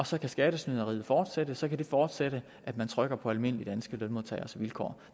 så skattesnyderiet kan fortsætte og så det kan fortsætte at man trykker almindelige danske lønmodtagers vilkår